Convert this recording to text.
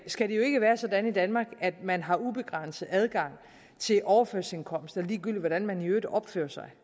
skal det ikke være sådan i danmark at man har ubegrænset adgang til overførselsindkomster ligegyldigt hvordan man i øvrigt opfører sig